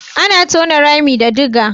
Ana tona rami da dige.